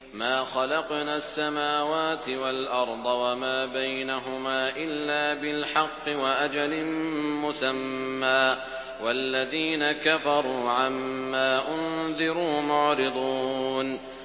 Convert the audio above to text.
مَا خَلَقْنَا السَّمَاوَاتِ وَالْأَرْضَ وَمَا بَيْنَهُمَا إِلَّا بِالْحَقِّ وَأَجَلٍ مُّسَمًّى ۚ وَالَّذِينَ كَفَرُوا عَمَّا أُنذِرُوا مُعْرِضُونَ